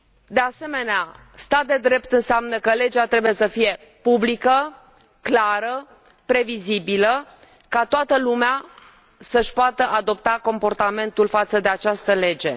De asemenea, stat de drept înseamnă că legea trebuie să fie publică, clară, previzibilă, ca toată lumea să și poată adopta comportamentul față de această lege.